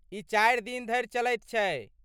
ई चारि दिन धरि चलैत छै।